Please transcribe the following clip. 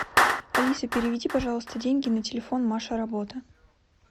алиса переведи пожалуйста деньги на телефон маша работа